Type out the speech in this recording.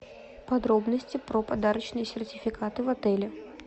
подробности про подарочные сертификаты в отеле